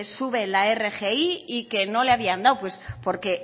sube la rgi y que no le habían dado pues porque